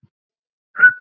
Heyr!